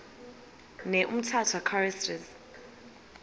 ne umtata choristers